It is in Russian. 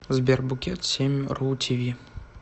сбер букет семь ру ти ви